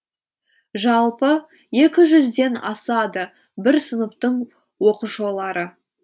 жалпы екі жүзден асады бір сыныптың оқушылары